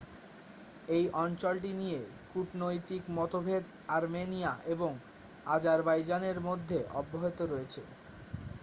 এই অঞ্চলটি নিয়ে কূটনৈতিক মতভেদ আর্মেনিয়া এবং আজারবাইজানের মধ্যে অব্যাহত রয়েছে